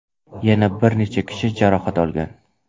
Yana bir necha kishi jarohat olgan.